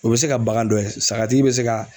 O bɛ se ka bagan dɔ ye sagatigi bɛ se ka